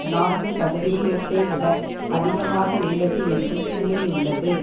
நான்கு சதவீதத்தை விட அதிகமாக உள்ளது என்றும் கூறியுள்ளது